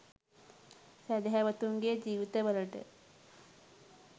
සැදැහැවතුන් ගේ ජීවිත වලට